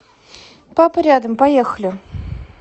папа рядом поехали